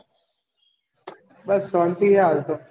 બસ શાંતિ હે હવે તો